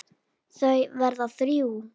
Þau verða þrjú.